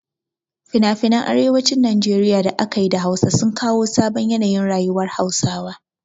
Finafinan arewacin Najeriya da aka yi da Hausa sun kawo sabon yanayin rayuwar Hausawa.